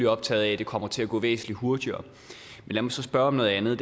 optaget af at det kommer til at gå væsentlig hurtigere lad mig så spørge om noget andet